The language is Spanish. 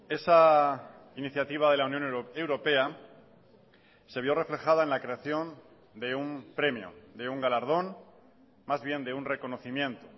esa iniciativa de la unión europea se vio reflejada en la creación de un premio de un galardón más bien de un reconocimiento